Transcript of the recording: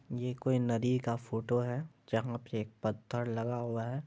ये कोई नदी का फोटो है जहाँ पे एक पत्थर लगा हुआ है।